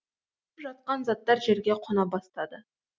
ұшып жатқан заттар жерге қона бастады